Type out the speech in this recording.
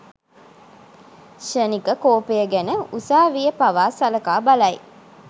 ක්‍ෂණික කෝපය ගැන උසාවිය පවා සලකා බලයි.